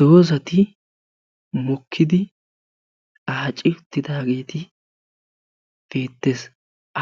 doozati mokkidi aacci uttidage beettessi